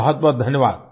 बहुत बहुत धन्यवाद